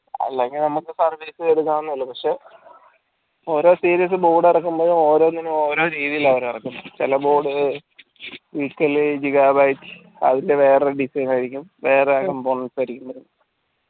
അല്ലെങ്കിൽ നമ്മക് service പക്ഷെ ഓരോ series board ഇറക്കുമ്പോ ഓരോന്നിന് ഓരോനാണ് ഇറക്കുന്നത് ചില board അതിൻറെ വേറൊരു design ആയിരിക്കും